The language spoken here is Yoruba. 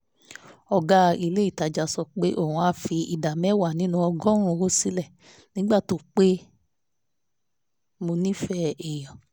ọ̀gá ilé ìtajà sọ pé òun á fi ìdá mẹ́wàá nínú ọgọ́rùn-ún owó sílẹ̀ nígbà tó rí pé mo nífẹ̀ẹ́ èèyàn